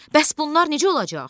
Bəs bunlar necə olacaq?